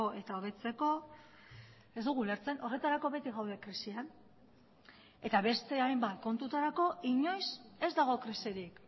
eta hobetzeko ez dugu ulertzen horretarako beti gaude krisian eta beste hainbat kontutarako inoiz ez dago krisirik